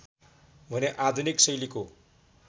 भने आधुनिक शैलीको